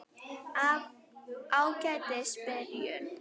Af Ágætis byrjun